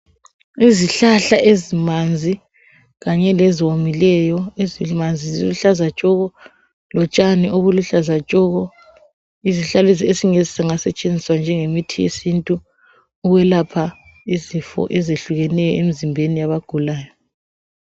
Izihlahla ezimanzi kanye leziwomileyo, ezimanzi ziluhlaza tshoko lotshani obuhluza tshoko. Izihlahla lezi ezingasetshenziswa njenge mithi yesintu ukwelapha izifo ezehlukeneyo emzimbeni yabagulayo.